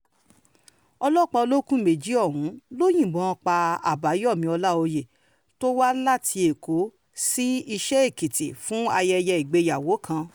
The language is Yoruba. ọlọ́pàá olókùn méjì ọ̀hún ló yìnbọn pa àbáyọ̀mí ọláòyè tó wá láti èkó sí iṣẹ́-ẹ́kìtì fún ayẹyẹ ìgbéyàwó kan